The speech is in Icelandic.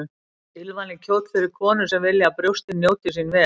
Tilvalinn kjóll fyrir konur sem vilja að brjóstin njóti sín vel.